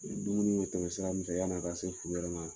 dumuni ye tɛmɛ sira min fɛ yan'a ka se furu yɛrɛ ma